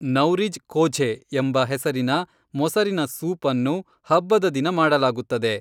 ನೌರಿಜ್ ಕೋಝೆ ಎಂಬ ಹೆಸರಿನ ಮೊಸರಿನ ಸೂಪ್ ಅನ್ನು ಹಬ್ಬದ ದಿನ ಮಾಡಲಾಗುತ್ತದೆ